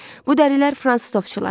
Bu dərilər fransız ovçularının idi.